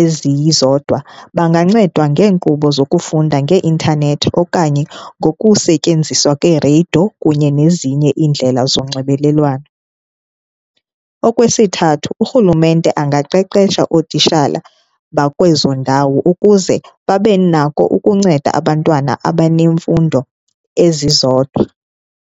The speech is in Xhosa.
ezizodwa bangancedwa ngeenkqubo zokufunda ngee-intanethi okanye ngokusetyenziswa kweereyido kunye nezinye iindlela zonxibelelwano. Okwesithathu, urhulumente angaqeqesha ootitshala bakwezo ndawo ukuze babe nako ukunceda abantwana abanemfundo ezizodwa.